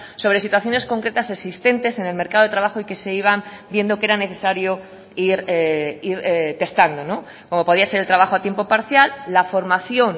sobre situaciones concretas existentes en el mercado de trabajo y que se iban viendo que eran necesario ir testando como podía ser el trabajo a tiempo parcial la formación